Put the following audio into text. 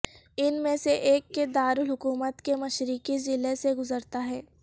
ان میں سے ایک کے دارالحکومت کے مشرقی ضلع سے گزرتا ہے